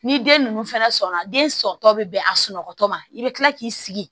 Ni den ninnu fana sɔnna den sɔntɔ bɛ bɛn a sunɔgɔtɔ ma i bɛ kila k'i sigi